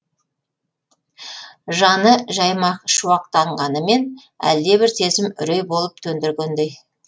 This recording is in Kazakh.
жаны жаймашуақтанғанымен әлдебір сезім үрей болып төндіргендей